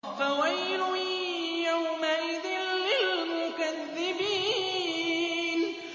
فَوَيْلٌ يَوْمَئِذٍ لِّلْمُكَذِّبِينَ